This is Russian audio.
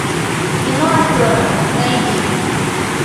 кино афера найди